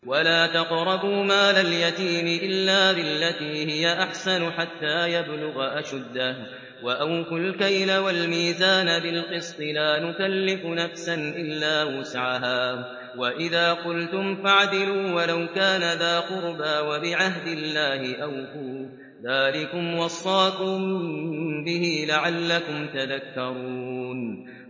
وَلَا تَقْرَبُوا مَالَ الْيَتِيمِ إِلَّا بِالَّتِي هِيَ أَحْسَنُ حَتَّىٰ يَبْلُغَ أَشُدَّهُ ۖ وَأَوْفُوا الْكَيْلَ وَالْمِيزَانَ بِالْقِسْطِ ۖ لَا نُكَلِّفُ نَفْسًا إِلَّا وُسْعَهَا ۖ وَإِذَا قُلْتُمْ فَاعْدِلُوا وَلَوْ كَانَ ذَا قُرْبَىٰ ۖ وَبِعَهْدِ اللَّهِ أَوْفُوا ۚ ذَٰلِكُمْ وَصَّاكُم بِهِ لَعَلَّكُمْ تَذَكَّرُونَ